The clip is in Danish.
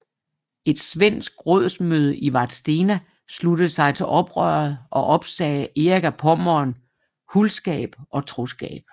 Et svensk rådsmøde i Vadstena sluttede sig til oprøret og opsagde Erik af Pommern huldskab og troskab